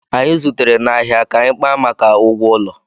Anyị zutere n'ahịa ka anyị kpaa maka ụgwọ ụlọ